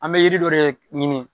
An bɛ yiri dɔ ye ɲini